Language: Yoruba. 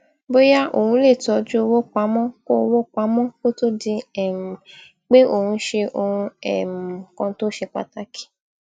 bóyá òun lè tójú owó pamó kó owó pamó kó tó di um pé òun ṣe ohun um kan tó ṣe pàtàkì